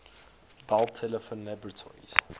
bell telephone laboratories